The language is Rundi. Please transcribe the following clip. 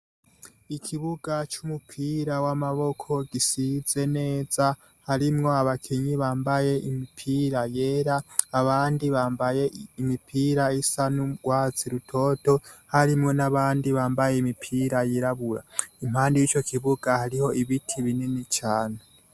Ikibuga c'umupira w'amaboko gisize neza harimwo abakinyi bambaye impira yera abandi bambaye imipira isa n'urwatsi rutoto. Harimwo n'abandi bambaye imipira yirabura. Impande y'ico kibuga hariho ibiti binini cane.